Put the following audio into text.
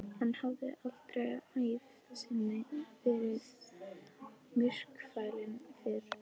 Hann hafði aldrei á ævi sinni verið myrkfælinn fyrr.